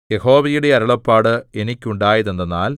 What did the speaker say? യഹോവയുടെ അരുളപ്പാട് എനിക്കുണ്ടായതെന്തെന്നാൽ